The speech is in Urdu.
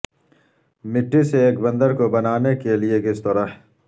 مٹی سے ایک بندر کو بنانے کے لئے کس طرح